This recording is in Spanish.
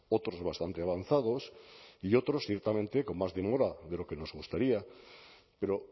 otros bastante avanzados y otros ciertamente con más demora de lo que nos gustaría pero